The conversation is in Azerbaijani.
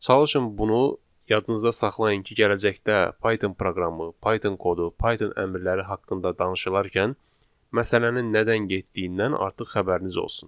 Çalışın bunu yadınızda saxlayın ki, gələcəkdə Python proqramı, Python kodu, Python əmrləri haqqında danışılarkən məsələnin nədən getdiyindən artıq xəbəriniz olsun.